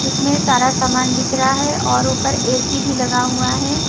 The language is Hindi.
जिसमें सारा सामान बिक रहा है और ऊपर ए_सी भी लगा हुआ है।